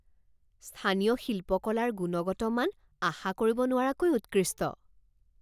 স্থানীয় শিল্পকলাৰ গুণগত মান আশা কৰিব নোৱাৰাকৈ উৎকৃষ্ট।